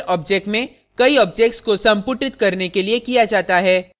उनका उपयोग single objects में कई objects को संपुटित करने के लिए किया जाता है